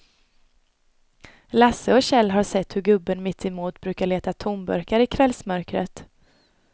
Lasse och Kjell har sett hur gubben mittemot brukar leta tomburkar i kvällsmörkret.